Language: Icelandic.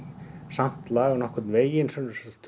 samt lag nokkurn veginn eins og